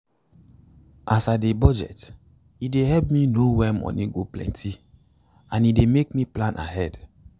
as i dey budget e dey help me know wen moni go plenty and e dey make me plan ahead